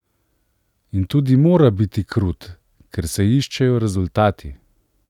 In tudi mora biti krut, ker se iščejo rezultati.